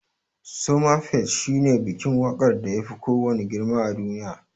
Somafest shine bikin waƙar da yafi kowanne girma a duniya.